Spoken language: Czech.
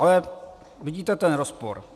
Ale vidíte ten rozpor.